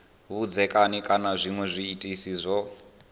vhudzekani kana zwinwe zwiitisi zwo